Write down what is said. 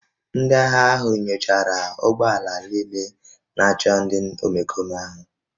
Ndị agha ahụ nyochara ụgbọ ala niile na-achọ ndị omekome ahụ